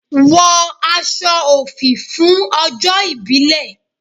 Wọ aṣọ òfì fún ọjọ́ ìbílè!